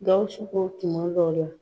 Gawusu ko tuma dɔ la